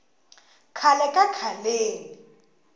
khale ka khaleni